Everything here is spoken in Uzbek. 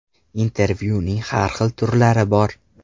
Intervyuning har xil turlari bor.